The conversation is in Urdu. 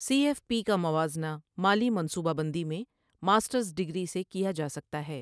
سی ایف پی کا موازنہ مالی منصوبہ بندی میں ماسٹرس ڈگری سے کیا جا سکتا ہے۔